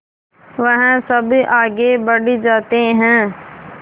वह सब आगे बढ़ जाते हैं